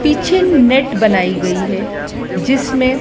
पीछे नेट बनाई गई है जिसमें--